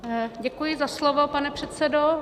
Děkuji za slovo, pane předsedo.